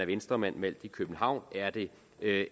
venstremand valgt i københavn er det